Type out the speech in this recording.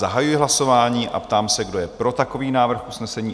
Zahajuji hlasování a ptám se, kdo je pro takový návrh usnesení?